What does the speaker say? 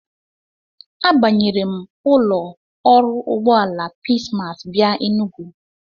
Abanyere m ụlọ ọrụ ụgbọala Peace Mass bịa Enugu.